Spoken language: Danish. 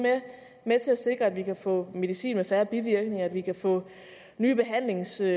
med til at sikre at vi kan få medicin med færre bivirkninger at vi kan få nye behandlingsformer